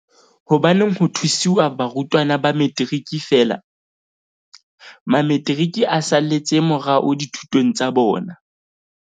Hobaneng ho thusiwa barutwana ba Metiriki feela? Mametiriki a saletse morao dithutong tsa bona.